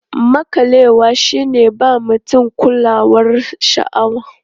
Maƙalewa shi ne ba mutum kulawar sha'awa.